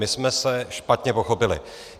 My jsme se špatně pochopili.